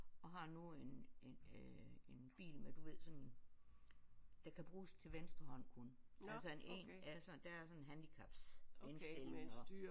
Og har nu en en øh en bil med du ved sådan der kan bruges til venstre hånd kun altså en altså der er sådan en handicapsindstilling og